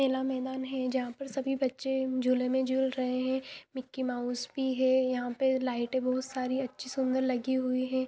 मेला मेदान है जंहा पर सारे बच्चे झुले मे झुल रहे है मिक्की माउस भी है यहाँ पे लाइट भी बहुत सारी सूंदर लगी हुई है।